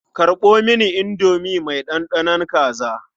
Karɓo mini indomi mai ɗanɗanon kaza.